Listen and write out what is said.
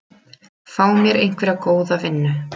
Fá mér einhverja góða vinnu.